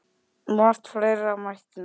Margt fleira mætti nefna.